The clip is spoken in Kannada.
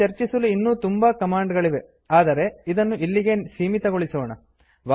ಇಲ್ಲಿ ಚರ್ಚಿಸಲು ಇನ್ನೂ ತುಂಬಾ ಕಮಾಂಡ್ ಗಳಿವೆ ಆದರೆ ಇದನ್ನು ಇಲ್ಲಿಗೇ ಸೀಮಿತಗೊಳಿಸೋಣ